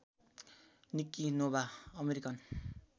Nikki Nova American